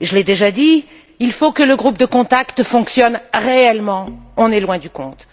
je l'ai déjà dit il faut que le groupe de contact fonctionne réellement. On est loin du compte.